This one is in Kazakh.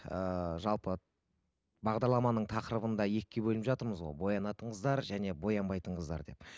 ыыы жалпы бағдарламаның тақырыбында екіге бөлініп жатырмыз ғой боянатын қыздар және боянбайтын қыздар деп